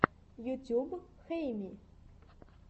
ютуб хэйми